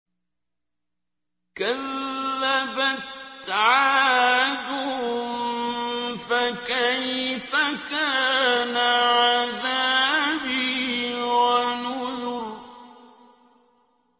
كَذَّبَتْ عَادٌ فَكَيْفَ كَانَ عَذَابِي وَنُذُرِ